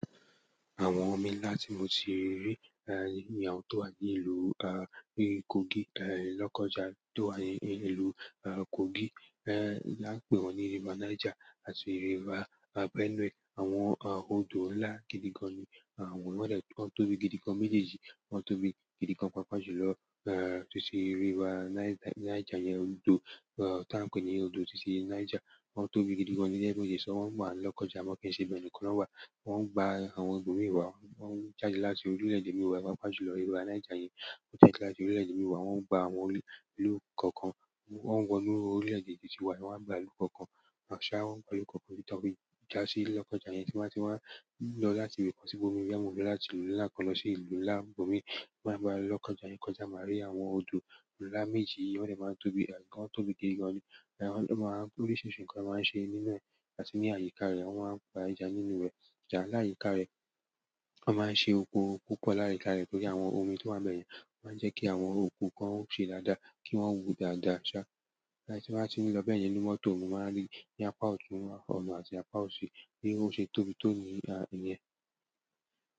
Àwọn omi ńlá tí mo ti rí, ehn, bi àwọn tó wà ní ìlú, ah, Kogi, ehn, Lọ́kọ́ja tó wà ní ìlú, ah, Kogi, ehn, a maa n pe wọn ni river Niger àti river Benue. Àwọn, ah, odò ńlá gidi gan ni. Àwọn, wọ́n dẹ́ tóbi gidi gan méjèèjì, wọ́n tóbi gidi gan pàápàá jù lọ, ehn, títí ríver Niger yẹn odò, eh, tí a ń pè ní odò títí Niger. Wọ́n tóbi gidi gan ni tojẹ wípé isán wọ́n wá n Lọ́kọ́ja máa kí ń ṣe ibẹ nìkan na wa. Wọ́n ń gba àwọn ibomi wa, wọ́n ń jáde láti orílẹ̀-èdè mí wa, pàápàá jù lọ river Niger yẹn. Wọ́n jáde late orílẹ̀-èdè mí wa, wọ́n ń gba àwọn ìlú kọ̀ọ̀kan, wọ́n ń wọ inú orílẹ̀-èdè títí wa, wọ́n ń gba ìlú kọ̀ọ̀kan. Àṣá wọ́n ń gba ìlú kọ̀ọ̀kan titi to fi jàsí Lọ́kọ́ja yẹn tí wọ́n bá ti wá ń lọ láti ibi kan sí ibòmíràn, wọ́n bá ti wá láti ìlú ńlá kan lọ sí ìlú ńlá ibomii, kọjá maa ri àwọn odo ńlá méjì yìí wọde maa n tóbi eh wọn tóbi gidi gan nii. Oaa n pe oríṣiríṣi nǹkan máa ń ṣe nínú rẹ̀ àti ní àyíká rẹ̀, wọ́n máa ń pa ẹjà nínú rẹ̀. Ẹja l'ayika rẹ. Wọ́n máa ń ṣe oko púpọ̀ l'ayika re torí àwọn omi tí wọ́n bá bẹ̀ yẹn. Wọ́n máa ń jẹ́ kí àwọn oko kan ó ṣe dáadáa kí wọ́n wù dáadáa ṣá. Ẹn tí mo bá ti ń lọ bẹ́ẹ̀ yẹn nínú mọ́tò mo máa n rí ní apá ọtun, ọ̀nà àti apá òsì bi o ṣe tóbi tó nìyẹn.